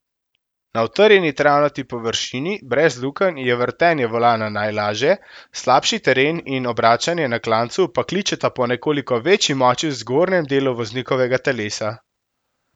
Na utrjeni travnati površini brez lukenj je vrtenje volana najlažje, slabši teren in obračanje na klancu pa kličeta po nekoliko večji moči v zgornjem delu voznikovega telesa.